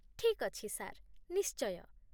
ଠିକ୍ ଅଛି ସାର୍, ନିଶ୍ଚୟ